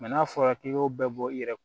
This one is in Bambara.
n'a fɔra k'i k'o bɛɛ bɔ i yɛrɛ